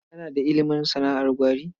Kana da ilimin sana'ar gwari?